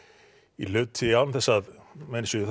í hluti án þess að menn séu